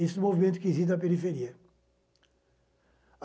Esse movimento que existe na periferia.